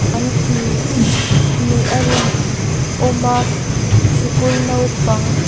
an tih nih a rin awm a sikul naupang --